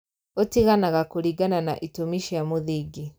Ũtiganaga kũringana na itũmi cia mũthingi